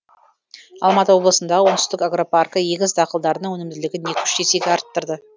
алматы облысындағы оңтүстік агропаркі егіс дақылдарының өнімділігін екі үш есеге арттырды